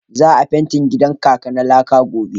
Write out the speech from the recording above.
Za a fentin gidan kaka na laka gobe.